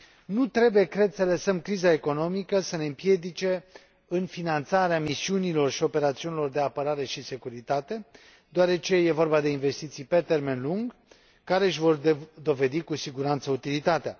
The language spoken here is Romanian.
Nu trebuie, cred, să lăsăm criza economică să ne împiedice în finanțarea misiunilor și operațiunilor de apărare și securitate, deoarece e vorba de investiții pe termen lung, care își vor dovedi cu siguranță utilitatea.